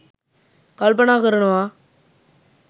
කල්පනා කරනවා.